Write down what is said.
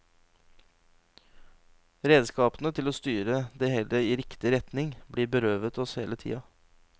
Redskapene til å styre det hele i riktig retning blir berøvet oss hele tida.